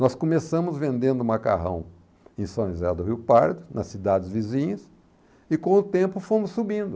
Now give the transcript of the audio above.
Nós começamos vendendo macarrão em São José do Rio Pardo, nas cidades vizinhas, e com o tempo fomos subindo.